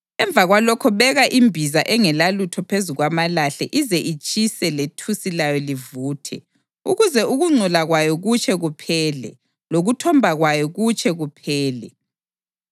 Emva kwalokho beka imbiza engelalutho phezu kwamalahle ize itshise lethusi layo livuthe ukuze ukungcola kwayo kutshe kuphele lokuthomba kwayo kutshe kuphele.